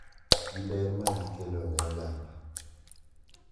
Gi ber magikelo ne oganda